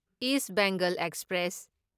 is Bengal express